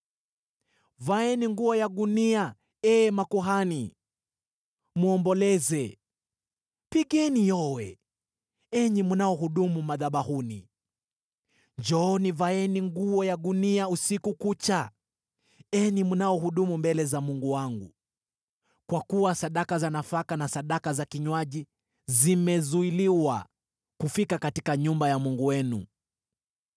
Vaeni nguo ya gunia, enyi makuhani, muomboleze; pigeni yowe, enyi mnaohudumu madhabahuni. Njooni, vaeni nguo ya gunia usiku kucha, enyi mnaohudumu mbele za Mungu wangu; kwa kuwa sadaka za nafaka na sadaka za kinywaji zimezuiliwa kufika katika nyumba ya Mungu wenu.